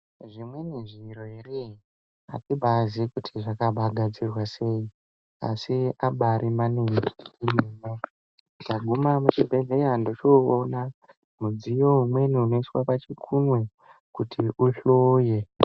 Zvimweni zviro eree! Atibaazii kuti zvakagadzirwa sei, asi abaari maninji. Ndaguma muchibhedhleya ndochoonà mudziyo umweni unoiswa pachikunwe kuti uhloye.